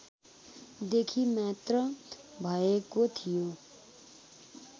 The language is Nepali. देखि मात्र भएको थियो